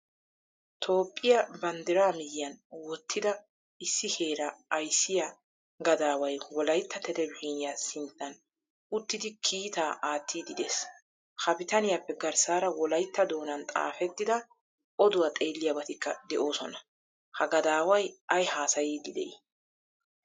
Toophphiyaa banddira miyiyan wottida issi heera ayssiya gadaway wolaytta televzhniyaa sinttan uttidi kiitta attidi de'ees. Ha biittaniyappe garssara wolaytta doonan xaafttida oduwaa xeeliyabatikka de'osona. Ha gadaway ay haasaiydi dei?